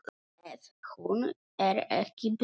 Ef hún er ekki bönnuð.